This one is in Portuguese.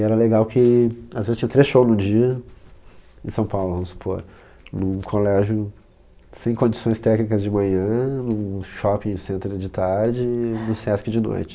E era legal que, às vezes, tinha três shows no dia em São Paulo, vamos supor, num colégio sem condições técnicas de manhã, num shopping center de tarde e no Sesc de noite.